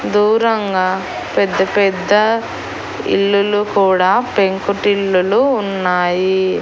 దూరంగా పెద్ద పెద్దా ఇల్లులూ కూడా పెంకుటిల్లులు ఉన్నాయీ.